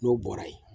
N'o bɔra ye